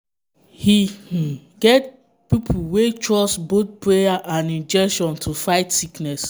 e um get people wey trust both prayer and injection to fight sickness.